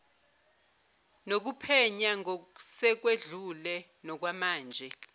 nokuphenya ngosekwedlule nokwamanje